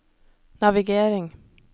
navigering